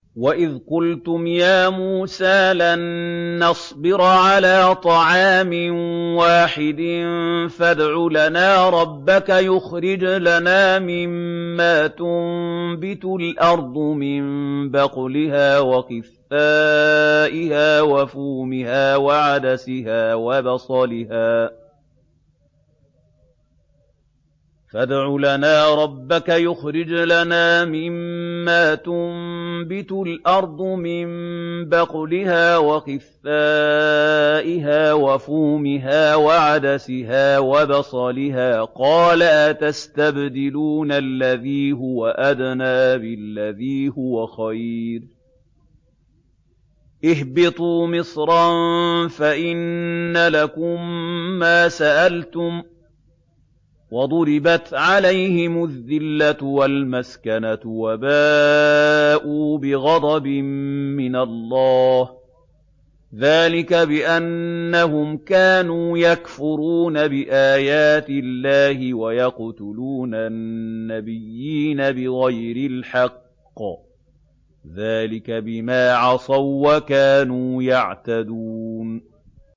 وَإِذْ قُلْتُمْ يَا مُوسَىٰ لَن نَّصْبِرَ عَلَىٰ طَعَامٍ وَاحِدٍ فَادْعُ لَنَا رَبَّكَ يُخْرِجْ لَنَا مِمَّا تُنبِتُ الْأَرْضُ مِن بَقْلِهَا وَقِثَّائِهَا وَفُومِهَا وَعَدَسِهَا وَبَصَلِهَا ۖ قَالَ أَتَسْتَبْدِلُونَ الَّذِي هُوَ أَدْنَىٰ بِالَّذِي هُوَ خَيْرٌ ۚ اهْبِطُوا مِصْرًا فَإِنَّ لَكُم مَّا سَأَلْتُمْ ۗ وَضُرِبَتْ عَلَيْهِمُ الذِّلَّةُ وَالْمَسْكَنَةُ وَبَاءُوا بِغَضَبٍ مِّنَ اللَّهِ ۗ ذَٰلِكَ بِأَنَّهُمْ كَانُوا يَكْفُرُونَ بِآيَاتِ اللَّهِ وَيَقْتُلُونَ النَّبِيِّينَ بِغَيْرِ الْحَقِّ ۗ ذَٰلِكَ بِمَا عَصَوا وَّكَانُوا يَعْتَدُونَ